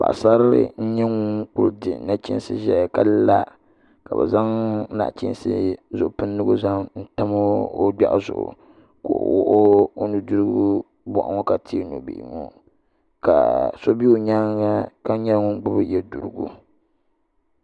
Paɣasarili n nyɛ ŋun ku di nachiinsi ʒɛya ka la ka bi zaŋ nachiinsi zipiligu n tam o gbiɛɣu zuɣu ka o wuɣi o nudirigu boɣu ŋo ka teei nubihi ŋo ka so bɛ o nyaanga ka nyɛ ŋun gbubi yɛ duɣurigu